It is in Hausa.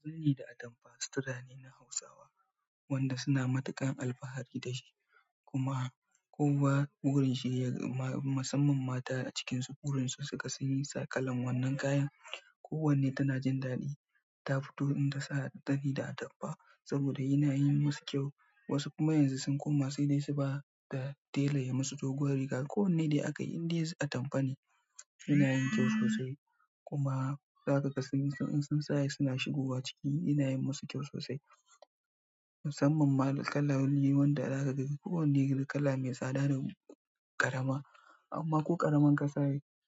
Kwalli da atamfa sutura ne na Hausawa wanda suna matuƙar alfahari da shi. Kuma kowa burin shi ya ga ma, masamman mata a cikinsu burin su suga sun yi sa kalan wannan kayan. Ko wanne tana jin daɗi ta fito in ta sa zani da atamfa saboda yana yin musu kyau. Wasu kuma yanzu sun koma sai dai su ba da tela ya masu doguwar riga. Ko wanne dai aka yi indai atamfa ne yana yin kyau sosai. Kuma za ka ga sun yi in sun sa suna shigowa ciki yana yin masu kyau sosai. Musamman ma kala wani wanda za ka ga ko wanne kala mai tsada da ƙarama. Amma ko ƙaramar ka sa